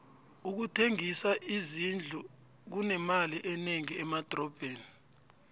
ukuthengisa izindlu kunemali enengi emadrobheni